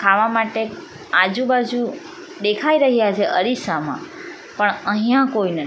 ખાવા માટે આજુબાજુ દેખાય રહ્યા છે અરીસામાં પણ અહીંયા કોઈને --